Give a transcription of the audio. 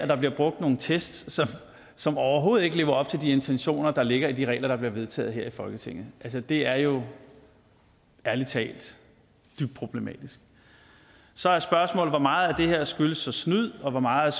der bliver brugt nogle test som overhovedet ikke lever op til de intentioner der ligger bag de regler der blev vedtaget her i folketinget det er jo ærlig talt dybt problematisk så er spørgsmålet hvor meget her der skyldes snyd og hvor meget